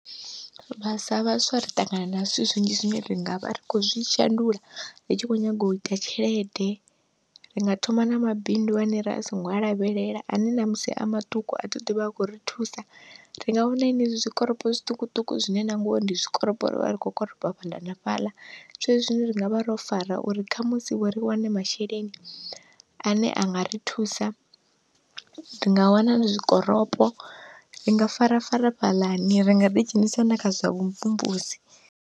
Sa vhaswa ri ṱangana na zwithu zwinzhi zwine ri ngavha ri khou zwi shandula ri tshi khou nyanga uita tshelede, ri nga thoma na mabindu ane ra singo a lavhelela ane ṋamusi a maṱuku athi aḓo ḓivha a khou ri thusa, ri nga wana henezwi zwikoropo zwiṱukuṱuku zwine na ngoho ndi zwikoropo ri vha ri kho koropa fhaḽa na fhaḽa, zwezwi zwine ra ngavha ro fara uri khamusi vho ri wane masheleni ane anga ri thusa ri nga wana zwikoropo ri nga farafara fhaḽani ri nga ri ḓi dzhenisa na kha zwa vhumvumvusi.